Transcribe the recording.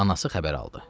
Anası xəbər aldı.